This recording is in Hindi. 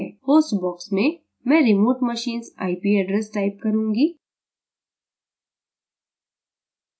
host box में मैं remote machine s ip address type करूँगी